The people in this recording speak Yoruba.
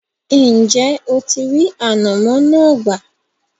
ǹjẹ́ o ti rí “ànàmọ́” náà gbà?